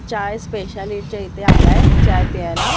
चाय specialist च्या इथे आलाय चाय प्यायला.